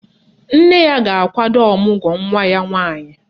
Nne ya ga-akwado ọmụgwọ nwa ya nwaanyị